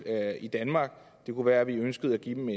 i danmark det kunne være at vi ønskede at give dem